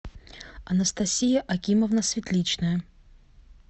анастасия акимовна светличная